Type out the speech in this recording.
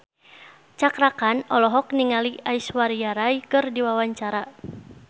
Cakra Khan olohok ningali Aishwarya Rai keur diwawancara